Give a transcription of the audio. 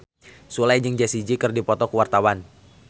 Sule jeung Jessie J keur dipoto ku wartawan